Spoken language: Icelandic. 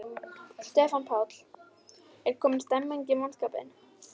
Stefán Páll: Er komin stemning í mannskapinn?